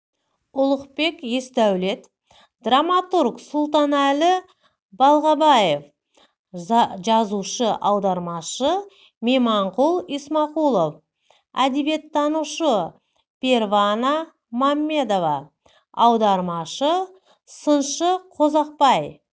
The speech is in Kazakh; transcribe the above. ұлықбек есдәулет драматург сұлтанәлі балғабаев жазушы аудармашы меманқұл исламқұлов әдебиеттанушы первана маммедова аудармашы сыншы қазоқбай